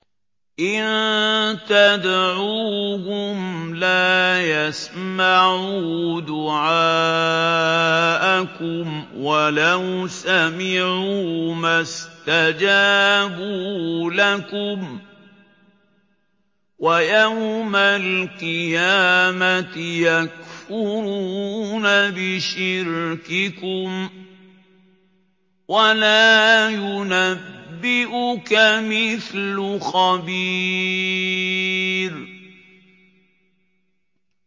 إِن تَدْعُوهُمْ لَا يَسْمَعُوا دُعَاءَكُمْ وَلَوْ سَمِعُوا مَا اسْتَجَابُوا لَكُمْ ۖ وَيَوْمَ الْقِيَامَةِ يَكْفُرُونَ بِشِرْكِكُمْ ۚ وَلَا يُنَبِّئُكَ مِثْلُ خَبِيرٍ